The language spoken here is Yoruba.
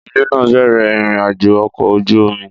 Ìdílé náà bẹ̀rẹ̀ ìrìn-àjò ọkọ̀ ojú omi.